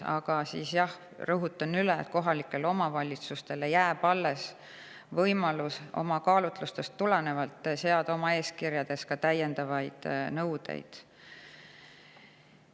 Aga jah, rõhutan üle, et kohalikele omavalitsustele jääb alles võimalus oma kaalutlustest tulenevalt seada oma eeskirjades ka täiendavaid nõudeid.